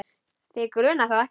Þig grunar þó ekki?.